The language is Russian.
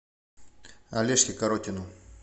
олежке коротину